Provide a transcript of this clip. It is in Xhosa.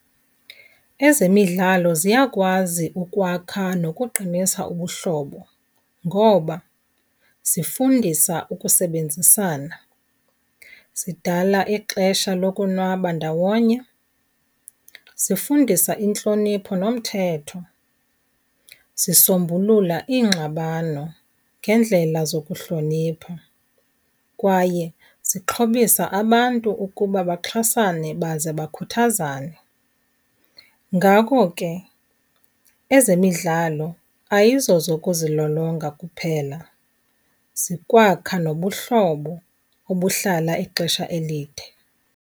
Ezemidlalo ziyakwazi ukwakha nokuqinisa ubuhlobo. Ngoba zifundisa ukusebenzisana, zidala ixesha lokonwaba ndawonye, zifundisa intlonipho nomthetho, zisombulula iingxabano ngendlela zokuhlonipha kwaye zixhobisa abantu ukuba baxhasane baze bakhuthazane. Ngako ke ezemidlalo ayizozokuzilolonga kuphela, zikwakha nobuhlobo obuhlala ixesha elide.